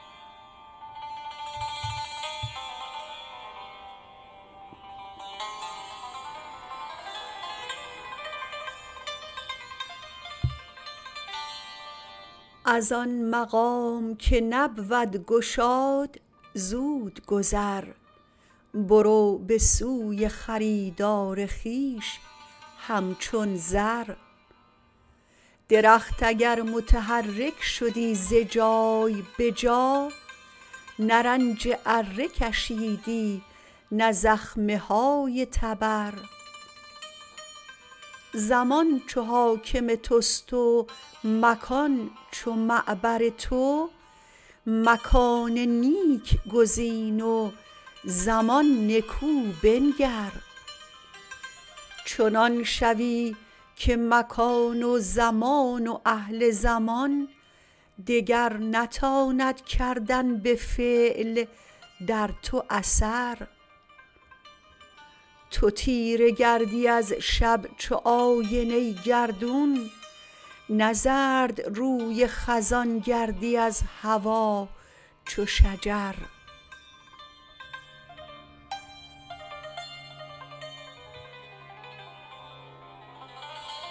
از آن مقام که نبود گشاد زود گذر برو به سوی خریدار خویش همچون زر درخت اگر متحرک شدی ز جای به جا نه رنج اره کشیدی نه زخمه های تبر زمان چو حاکم تست و مکان چو معبر تو مکان نیک گزین و زمان نکو بنگر چنان شوی که مکان و زمان و اهل زمان دگر نتاند کردن به فعل در تو اثر تو تیره گردی از شب چو آینه گردون نه زردروی خزان گردی از هوا چو شجر